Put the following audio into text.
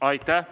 Aitäh!